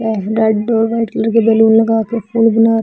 लड्डू है white colour के balloon लगा के फूल गुलाब--